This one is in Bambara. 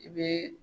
I bɛ